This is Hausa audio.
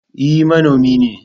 E, manomi ne.